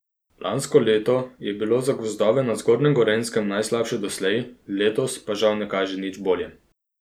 Lansko leto je bilo za gozdove na zgornjem Gorenjskem najslabše doslej, letos pa žal ne kaže nič bolje.